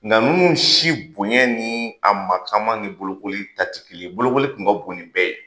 Nka ninnu si bonya ni a mataama ni bolokoli ta ti ye bolokoli kun ka bon nin bɛɛ ye.